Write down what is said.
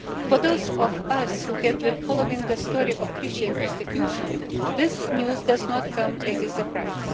For those of us who have been following the story of Christian persecution, this news does not come as a surprise.